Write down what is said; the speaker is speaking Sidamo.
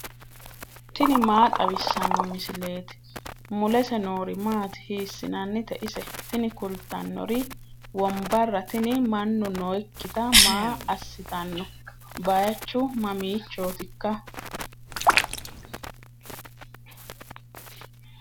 tini maa xawissanno misileeti ? mulese noori maati ? hiissinannite ise ? tini kultannori wombarra tini mannu nooikkiti maa assitanno baychu mamiichootikka